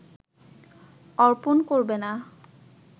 অর্পন করবে না